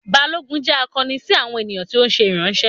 Balogun jẹ akọni si awọn eniyan ti o ṣe iranṣẹ.